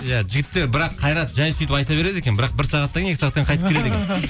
иә жігіттер бірақ қайрат жай сөйтіп айта береді екен бірақ бір сағаттан кейін екі сағаттан кейін қайтып келеді екен